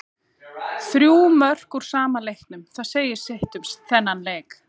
Þrjú mörk úr sama leiknum, það segir sitt um þennan leik.